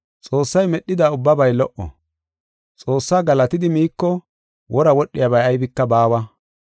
Xoossay medhida ubbabay lo77o. Xoossaa galatidi miiko wora wodhiyabay aybika baawa.